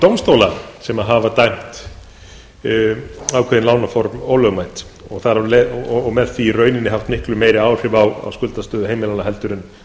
dómstóla sem hafa dæmt ákveðin lánaform ólögmæt og með því í rauninni haft miklu meiri áhrif á skuldastöðu heimilanna en